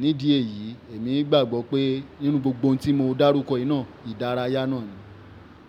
Ní díẹ̀ yìí èmi gbàgbọ́ pé nínú gbogbo ohun tí mo dá rúkọ náà, ìdárayá náà ni.